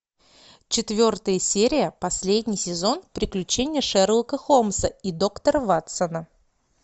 четвертая серия последний сезон приключения шерлока холмса и доктора ватсона